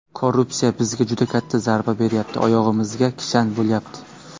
Korrupsiya bizga juda katta zarba beryapti, oyog‘imizga kishan bo‘lyapti.